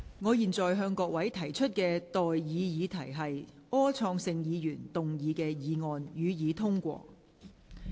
我現在向各位提出的待議議題是：柯創盛議員動議的議案，予以通過。